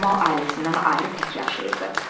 Camal ailəsindən ayrı tək yaşayırdı.